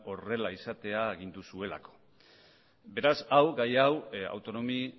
horrela izatea agindu zuelako beraz gai hau autonomi